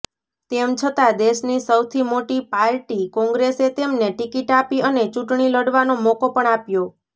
તેમછતાં દેશની સૌથી મોટી પાર્ટી કોંગ્રેસે તેમને ટિકિટ આપી અને ચૂંટણી લડવાનો મોકો પણ આપ્યો